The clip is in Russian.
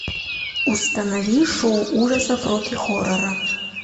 установи шоу ужасов рокки хоррора